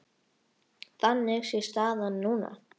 Þannig sé staðan núna.